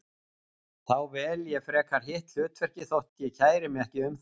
Þá vel ég frekar hitt hlutverkið þótt ég kæri mig ekki um það.